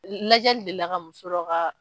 Lajɛli delila ka muso dɔ ka